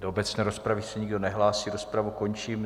Do obecné rozpravy se nikdo nehlásí, rozpravu končím.